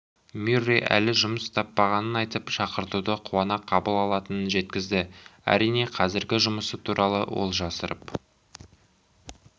мюррей әлі жұмыс таппағанын айтып шақыртуды қуана қабыл алатынын жеткізді әрине қазіргі жұмысы туралы ол жасырып